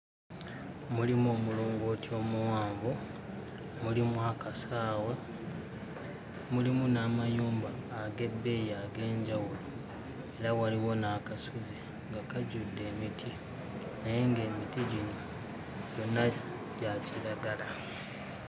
Mulimu omulongooti omuwanvu, mulimu akasaawe, mulimu n'amayumba ag'ebbeeyi ag'enjawulo era waliwo n'akasozi nga kajjudde emiti naye ng'emiti gino gyonna gya kiragala.